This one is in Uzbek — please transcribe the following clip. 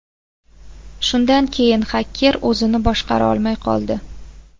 Shundan keyin xaker o‘zini boshqara olmay qoldi.